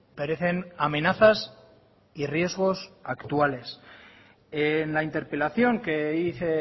parecen amenazas y riesgos actuales en la interpelación que hice